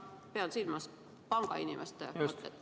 Ma pean silmas pangainimeste mõtet.